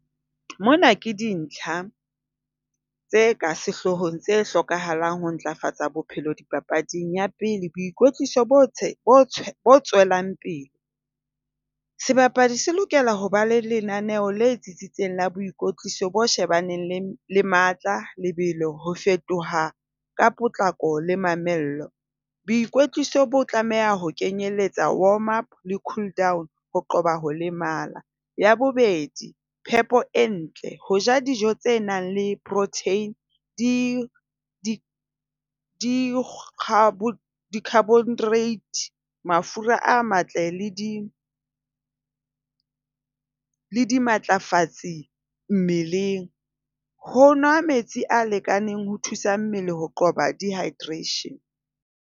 Mona ke dintlha tse ka sehloohong tse hlokahalang ho ntlafatsa bophelo dipapading. Ya pele, boikwetliso tswelang pele. Sebapadi se lokela ho ba le lenaneo le tsitsitseng la boikwetliso bo shebaneng le le matla, lebelo, ho fetoha ka potlako le mamello. Boikwetliso bo tlameha ho kenyeletsa warm up le cool down. Ho qoba ho lemala. Ya bobedi, phepo e ntle. Ho ja dijo tse nang le protein, di di Gabriel Carbon rate . Mafura a matle le di le dimatlafatsi mmeleng. Ho nwa metsi a lekaneng ho thusa mmele ho qoba dehydration.